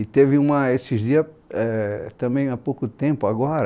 E teve uma esses dias é, também há pouco tempo, agora,